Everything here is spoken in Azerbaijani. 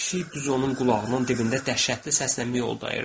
Pişik düz onun qulağının dibində dəhşətli səslə mioldayırdı.